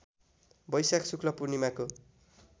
बैशाख शुक्ल पूर्णिमाको